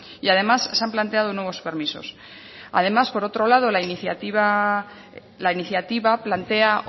y además se han planteado nuevos permisos además por otro lado la iniciativa plantea